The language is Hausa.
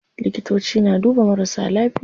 Likitoci na duba marasa lafiya.